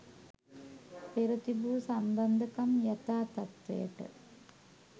පෙර තිබූ සම්බන්ධකම් යථා තත්වයට